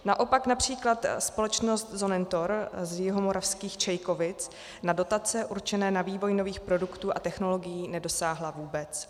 Naopak například společnost Sonnentor z jihomoravských Čejkovic na dotace určené na vývoj nových produktů a technologií nedosáhla vůbec.